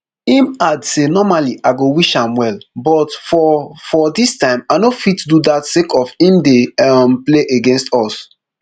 im add say normally i go wish am well but for for dis time i no fit do dat sake of im dey um play against us